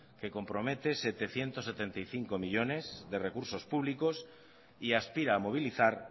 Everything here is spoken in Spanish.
que compromete setecientos setenta y cinco millónes de recursos públicos y aspira a movilizar